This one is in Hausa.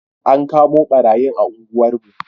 An kamo ɓarayi a unguwar mu